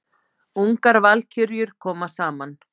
Ungar valkyrjur koma saman